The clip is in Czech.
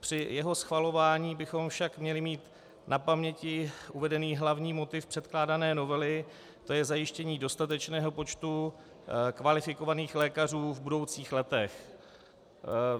Při jeho schvalování bychom však měli mít na paměti uvedený hlavní motiv předkládané novely, to je zajištění dostatečného počtu kvalifikovaných lékařů v budoucích letech.